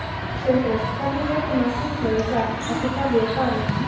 Sindri: Hvernig metur maður húsnæði í dag, eftir hverju er farið?